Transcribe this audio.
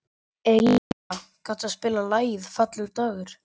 Elinóra, kanntu að spila lagið „Fallegur dagur“?